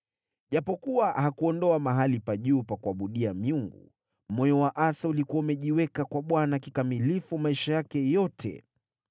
Ijapokuwa hakuondoa mahali pa juu pa kuabudia miungu, moyo wa Asa ulikuwa umejiweka kwa Bwana kikamilifu maisha yake yote.